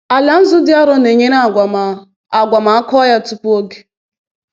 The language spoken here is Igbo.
Ala nzu dị arọ na-enyere agwa ma a agwa ma a kụọ ya tupu oge.